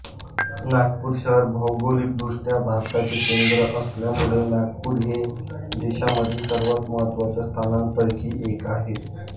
नागपूर शहर भौगोलिक दृष्ट्या भारताचे केंद्र असल्यामुळे नागपूर हे देशामधील सर्वात महत्त्वाच्या स्थानकांपैकी एक आहे